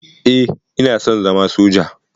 Eh, ina son zama soja.